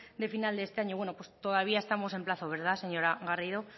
de final de este año bueno pues todavía estamos en plazo verdad señora garrido